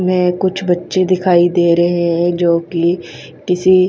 में कुछ बच्चे दिखाई दे रहे है जोकि किसी--